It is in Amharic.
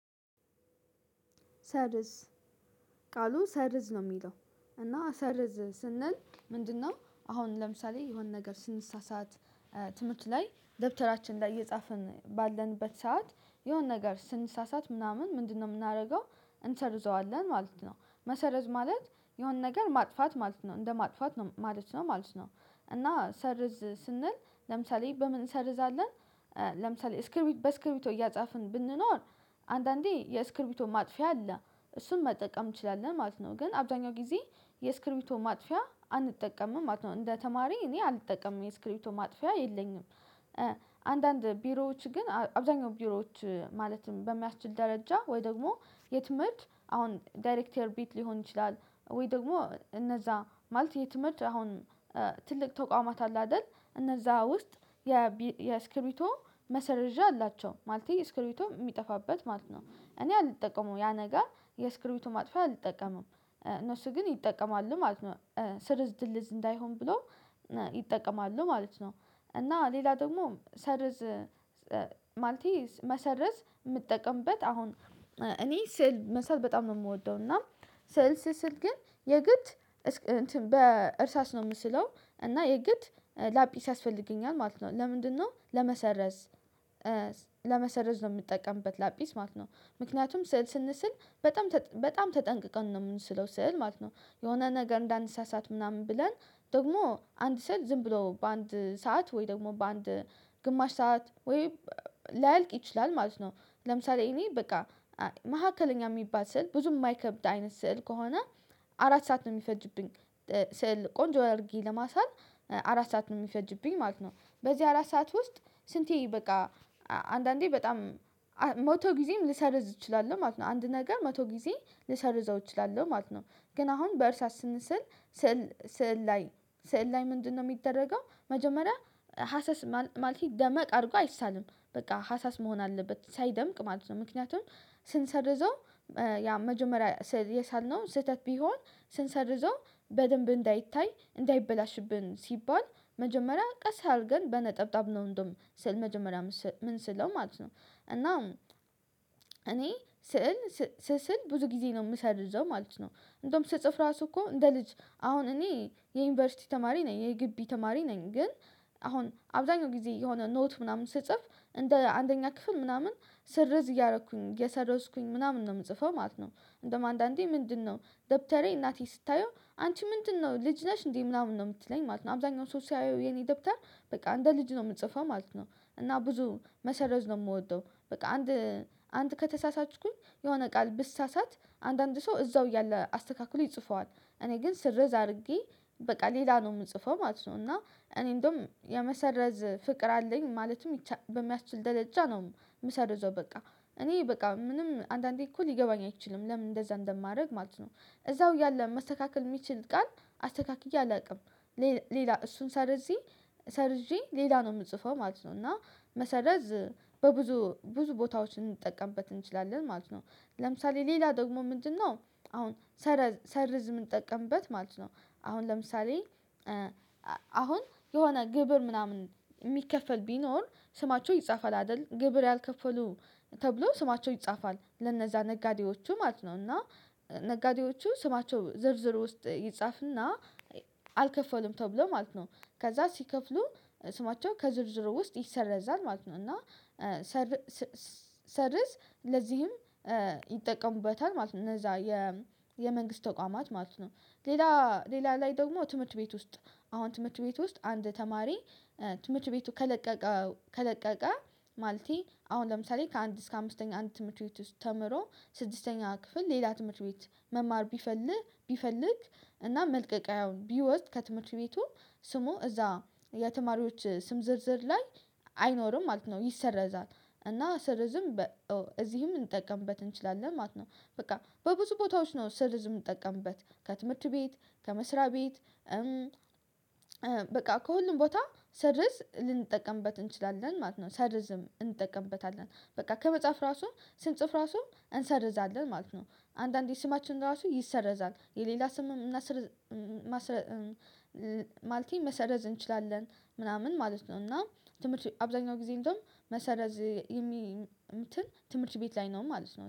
ሰርዝ ቃሉ ሰርዝ ነው የሚለው እና ሰርዝ ስንል ምንድነው አሁን ለምሳሌ የሆነ ነገር ስንሳሳት ትምህርት ላይ ደብተራችን ላይ እየጻፍን ባለንበት ሰዓት የሆነ ነገር ስንሳሳት ምናምን ምንድነው የምናደርገው እንሰርዘዋለን ማለት ነው መሰረዝ ማለት የሆነ ነገር ማጥፋት ማለት ነው እንደ ማጥፋት ነው ማለት ነው ማለት ነው። እና ሰርዝ ስንል ለምሳሌ በምን እንሰርዛለን? ለምሳሌ እስክርቢት በእስክርቢቶ እያጻፍን ብንኖር አንዳንዴ የእስክርቢቶ ማጥፊያ አለ እሱን መጠቀም ትችላለህ ማለት ነው። ግን አብዛኛው ጊዜ የስክሪቢቶ ማጥፊያ አንጠቀምም ማለት ነው እንደ ተማሪ እኔ አልጠቀምም የስክሪፕቶ ማጥፊያ የለኝም። አንዳንድ ቢሮዎች ግን አብዛኛው ቢሮዎች ማለትም በሚያስችል ደረጃ ወይ ደግሞ የትምህርት አሁን ዳይሬክተር ቢት ሊሆን ይችላል። ወይ ደግሞ እነዛ ማለት የትምህርት አሁን ትልቅ ተቋማት አለ አይደል እነዛ ውስጥ የስክሪፕቶ መሰረዣ አላቸው ማለቴ ስክሪቶ የሚጠፋበት ማለት ነው። እኔ አልጠቀመው ያ ነገር የስክሪፕቶ ማጥፋት አልጠቀመም እነሱ ግን ይጠቀማሉ ማለት ነው። ስርዝ ድልዝ እንዳይሆን ብሎ ይጠቀማሉ ማለት ነው። እና ሌላ ደግሞ ሰርዝ ማልቴ መሰረዝ የምጠቀምበት አሁን እኔ ስዕል መሳል በጣም ነው የምወደው እና ስዕል ስስል ግን የግድ በእርሳስ ነው የምስለው እና የግድ ላጲስ ያስፈልገኛል ማለት ነው። ለምንድነው ለመሰረዝ ለመሰረዝ ነው የምጠቀምበት ላጲስ ማለት ነው? ምክንያቱም ስንስል በጣም በጣም ተጠንቅቀን ነው የምንስለው ስዕል ማለት ነው። የሆነ ነገር እንዳንሳሳት ምናምን ብለን ደግሞ አንድ ሰው ዝም ብሎ በአንድ ሰዓት ወይ ደግሞ በአንድ ግማሽ ሰዓት ወይ ላያልቅ ይችላል ማለት ነው። ለምሳሌ እኔ በቃ መካከለኛ የሚባል ስዕል ብዙም የማይከብድ አይነት ስዕል ከሆነ አራት ሰዓት ነው የሚፈጅብኝ ስዕል ቆንጆ አድርጌ ለማሳል አራት ሰዓት ነው የሚፈጅብኝ ማለት ነው። በዚህ አራት ሰዓት ውስጥ ስንቴ በቃ አንዳንዴ በጣም መቶ ጊዜም ልሰርዝ እችላለሁ ማለት ነው አንድ ነገር መቶ ጊዜ ልሰርዘው እችላለሁ ማለት ነው። ግን አሁን በእርሳስ ስንስል ስዕል ላይ ስዕል ላይ ምንድነው? የሚደረገው መጀመሪያ ሀሰስ ማለት ደመቅ አድርጎ አይሳልም በቃ ሀሳስ መሆን አለበት ሳይደምቅ ማለት ነው። ምክንያቱም ስንሰርዘው ያ መጀመሪያ የሳልነው ስህተት ቢሆን ስንሰርዞ በደንብ እንዳይታይ እንዳይበላሽብን ሲባል መጀመሪያ ቀስ አድርገን በነጠብጣብ ነው እንደውም ስዕል መጀመሪያ ምን ስለው ማለት ነው እና እኔ ስዕል ስስል ብዙ ጊዜ ነው የምሰርዘው ማለት ነው። እንደውም ጽሁፍ ስጽፍ ራሱ እኮ እንደ ልጅ አሁን እኔ የዩኒቨርሲቲ ተማሪ ነኝ የግብይ ተማሪ ነኝ ግን አሁን አብዛኛውን ጊዜ የሆነ ኖት ምናምን ስጽፍ እንደ አንደኛ ክፍል ምናምን ስርዝ እያደረኩኝ እየሰረዝኩኝ ምናምን ነው የምጽፈው ማለት ነው። እንደውም አንዳንዴ ምንድነው ደብተሬ እናቴ ስታየው አንቺ ምንድነው ልጅ ነሽ እንዴ ምናምን ነው የምትለኝ ማለት ነው። አብዛኛው ሰው ሲያየው የኔ ደብተር በቃ እንደ ልጅ ነው የምጽፈው ማለት ነው። እና ብዙ መሰረዝ ነው የምወደው በቃ አንድ አንድ ከተሳሳችኩኝ የሆነ ቃል ብሳሳት አንዳንድ ሰው እዛው እያለ አስተካክሎ ይጽፈዋል እኔ ግን ስርዝ አድርጌ በቃ ሌላ ነው የምጽፈው ማለት ነው። እና እኔ እንደውም የመሰረዝ ፍቅር አለኝ ማለትም በሚያስችል ደረጃ ነው የምሰርዘው በቃ እኔ በቃ ምንም አንዳንዴ እኮ ሊገባኝ አይችልም ለምን እንደዛ እንደማደርግ ማለት ነው። እዛው እያለ መስተካከል የሚችል ቃል አስተካክዬ አላውቅም ሌላ እሱን ሰርዤ ሰርዤ ሌላ ነው የምጽፈው ማለት ነው እና መሰረዝ በብዙ ብዙ ቦታዎች እንጠቀምበት እንችላለን ማለት ነው። ለምሳሌ ሌላ ደግሞ ምንድነው? አሁን ሰረዝ ምንጠቀምበት ማለት ነው አሁን ለምሳሌ አሁን የሆነ ግብር ምናምን የሚከፈል ቢኖር ስማቸው ይጻፋል አይደል ግብር ያልከፈሉ ተብሎ ስማቸው ይጻፋል ለነዛ ነጋዴዎቹ ማለት ነው እና ነጋዴዎቹ ስማቸው ዝርዝር ውስጥ ይጻፍና አልከፈሉም ተብሎ ማለት ነው ከዛ ሲከፍሉ ስማቸው ከዝርዝሩ ውስጥ ይሰረዛል ማለት ነው እና ሰርዝ ለዚህም ይጠቀሙበታል ማለት ነው። እነዛ የመንግስት ተቋማት ማለት ነው። ሌላ ሌላ ላይ ደግሞ ትምህርት ቤት ውስጥ አሁን ትምህርት ቤት ውስጥ አንድ ተማሪ ትምህርት ቤቱ ከለቀቀ ከለቀቀ ማለቴ አሁን ለምሳሌ ከአንድ እስከ አምስተኛ አንድ ትምህርት ቤት ውስጥ ተምሮ ስድስተኛ ክፍል ሌላ ትምህርት ቤት መማር ቢፈልግ ቢፈልግ እና መልቀቂያውን ቢወስድ ከትምህርት ቤቱ ስሙ እዛ የተማሪዎች ስም ዝርዝር ላይ አይኖርም ማለት ነው ይሰረዛል እና ስርዝም እዚህም እንጠቀምበት እንችላለን ማለት ነው። በቃ በብዙ ቦታዎች ነው ስርዝ የምጠቀምበት ከትምህርት ቤት ከመስሪያ ቤት በቃ ከሁሉም ቦታ ሰርዝ ልንጠቀምበት እንችላለን ማለት ነው። ሰርዝም እንጠቀምበታለን ከመጽሐፍ ራሱ ስንጽፍ ራሱ እንሰርዛለን ማለት ነው። አንዳንዴ ስማችን ራሱ ይሰረዛል የሌላ ስምም ማለቴን መሰረዝ እንችላለን ምናምን ማለት ነው። እና ትምህርት አብዛኛው ጊዜ እንደውም መሰረዝ የሚ እንትን ትምህርት ቤት ላይ ነው ማለት ነው